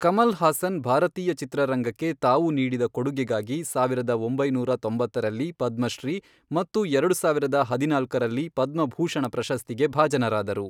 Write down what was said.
ಕಮಲ್ ಹಾಸನ್ ಭಾರತೀಯ ಚಿತ್ರರಂಗಕ್ಕೆ ತಾವು ನೀಡಿದ ಕೊಡುಗೆಗಾಗಿ ಸಾವಿರದ ಒಂಬೈನೂರ ತೊಂಬತ್ತರಲ್ಲಿ ಪದ್ಮಶ್ರೀ ಮತ್ತು ಎರಡು ಸಾವಿರದ ಹದಿನಾಲ್ಕರಲ್ಲಿ, ಪದ್ಮಭೂಷಣ ಪ್ರಶಸ್ತಿಗೆ ಭಾಜನರಾದರು.